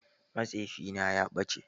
Matsefi na ya ɓace.